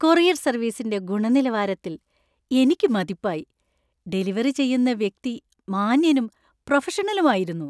Courier സര്‍വീസിന്‍റെ ഗുണനിലവാരത്തിൽ എനിക്ക് മതിപ്പായി. ഡെലിവറി ചെയ്യുന്ന വ്യക്തി മാന്യനും, പ്രൊഫഷണലുമായിരുന്നു.